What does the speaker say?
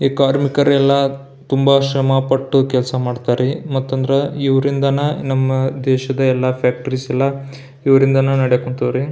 ಈ ಕಾರ್ಮಿಕರೆಲ್ಲ ತುಂಬಾ ಶ್ರಮ ಪಟ್ಟು ಕೆಲಸ ಮಾಡ್ತರ್ ರೀ ಮತ್ ಅಂದ್ರ ಇವರಿಂದಾನೆ ದೇಶದ ಎಲ್ಲ ಫ್ಯಾಕ್ಟರೀಸ್ ಎಲ್ಲ ಇವರಿಂದಾನೆ ನಡೆಯಕ್ ಹೊಂಥಾರಿ --